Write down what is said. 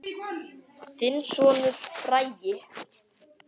Þinn sonur, Bragi.